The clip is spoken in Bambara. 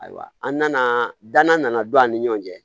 Ayiwa an nana dana don an ni ɲɔgɔn cɛ